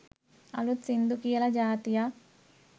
අලුත් සිංදු කියල ජාතියක්